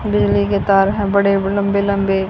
बिजली के तार यहां बड़े लंबे लंबे--